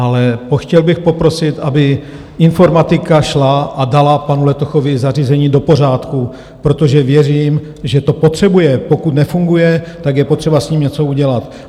Ale chtěl bych poprosit, aby informatika šla a dala panu Letochovi zařízení do pořádku, protože věřím, že to potřebuje, pokud nefunguje, tak je potřeba s ním něco udělat.